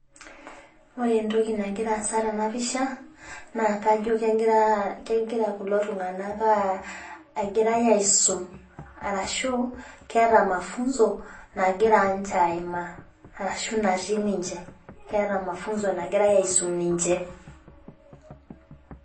Ore entoki nagira aasa tena pisha naa kajo egira kulo tung'ana egirai aisum, arashu keata mafunzo nagirai ninche aimaa arashu natii ninche. Keata mafunzo nagirai aisum ninche.